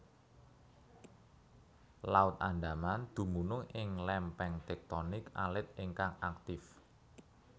Laut Andaman dumunung ing lempeng tektonik alit ingkang aktif